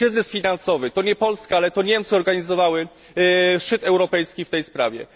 Kryzys finansowy to nie Polska, lecz Niemcy organizowały szczyt europejski w tej sprawie.